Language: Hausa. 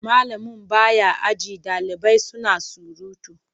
Malami ba ya aji ɗalibai suna surutu.